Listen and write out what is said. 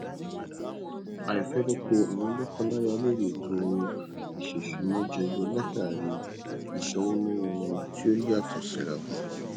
àìfẹnukò àwọn lọkọláya lórí ètò ìṣèsúná jẹyọ látàrí ìsọwọ náwó wọn tí ó yàtọ sírawọn